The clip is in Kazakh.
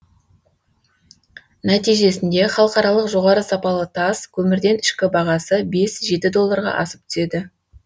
нәтижесінде халықаралық жоғары сапалы тас көмірден ішкі бағасы бес жеті долларға асып түседі